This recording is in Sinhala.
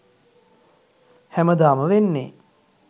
හැමදාම වෙන්නේ